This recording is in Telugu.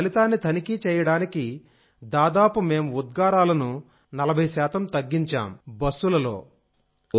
దాని ఫలితాన్ని తనిఖీ చేయడానికి దాదాపు మేం ఉద్గారాలను నలభై శాతం తగ్గించాం బస్సులలో